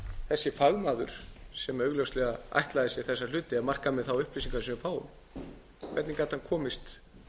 þessi fagmaður sem augljóslega ætlaði sér þessa hluti ef marka má þær upplýsingar sem við fáum komist